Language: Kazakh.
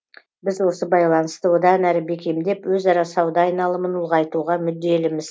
біз осы байланысты одан әрі бекемдеп өзара сауда айналымын ұлғайтуға мүдделіміз